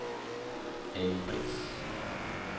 Ali Brix